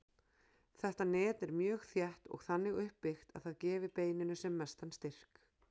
Þetta net er mjög þétt og þannig uppbyggt að það gefi beininu sem mestan styrk.